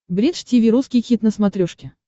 бридж тиви русский хит на смотрешке